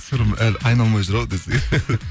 сырым әлі айналмай жүр ау десең